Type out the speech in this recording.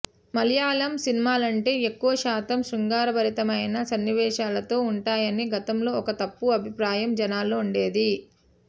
మలయాళం సినిమాలంటే ఎక్కువశాతం శృంగారభరితమైన సన్నివేశాలతో ఉంటాయని గతంలో ఒక తప్పు అభిప్రాయం జనాల్లో ఉండేది